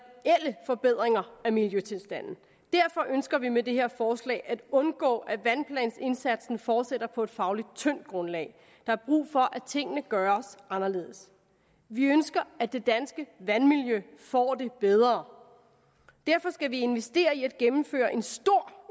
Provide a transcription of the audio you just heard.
forbedringer i miljøtilstanden derfor ønsker vi med det her forslag at undgå at vandplansindsatsen fortsætter på et fagligt tyndt grundlag der er brug for at tingene gøres anderledes vi ønsker at det danske vandmiljø får det bedre derfor skal vi investere i at gennemføre en stor